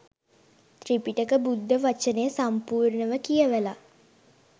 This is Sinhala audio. ත්‍රිපිටක බුද්ධ වචනය සම්පූර්ණව කියවලා